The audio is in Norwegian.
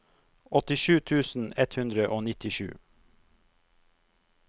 åttisju tusen ett hundre og nittisju